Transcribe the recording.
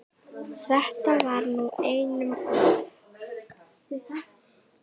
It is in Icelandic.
Þetta var nú einum of!